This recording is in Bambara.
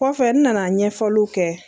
Kɔfɛ, n nana ɲɛfɔliw kɛ.